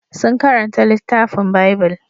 Sun karanta littafin Bible.